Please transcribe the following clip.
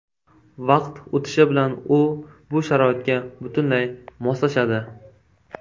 Vaqt o‘tishi bilan u bu sharoitga butunlay moslashadi.